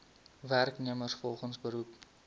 werknemers volgens beroep